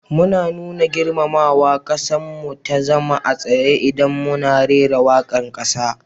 Mu na nuna girmamawaga kassan mu ta zama a tsaye idan muna rera wakan kasa.